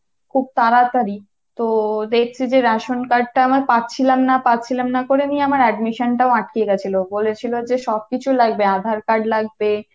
খুব তাড়াতাড়ি, তো দেখছি যে ration card টা আমার পাচ্ছিলাম না পাচ্ছিলাম না করে আমিআমার admission টা আটকে গিয়েছিলো, বলেছিলো যে সব কিছু লাগবে, aadhar card লাগবে